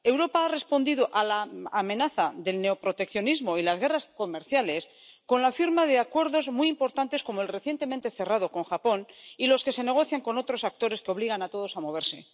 Europa ha respondido a la amenaza del neoproteccionismo y las guerras comerciales con la firma de acuerdos muy importantes, como el recientemente cerrado con Japón y los que se negocian con otros actores que obligan a todos a moverse.